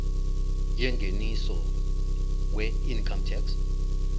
yengeniso weincome tax